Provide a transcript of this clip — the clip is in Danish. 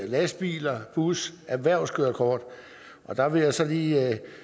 lastbiler og bus og erhvervskørekort der vil jeg så lige